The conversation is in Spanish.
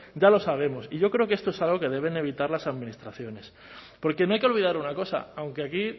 ya lo sabemos y yo creo que esto es algo que deben evitar las administraciones porque no hay que olvidar una cosa aunque aquí